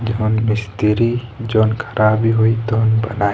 जोवन मिस्त्री जोवन खराबी होइ तवन बनाई।